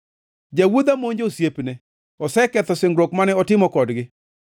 Jawuodha monjo osiepene; oseketho singruok mane otimo kodgi.